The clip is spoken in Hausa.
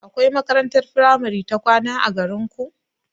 Akwai makarantar firamare ta kwana a garinku?